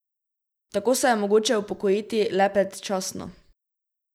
Tako se je mogoče upokojiti le predčasno.